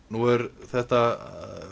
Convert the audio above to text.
nú er þetta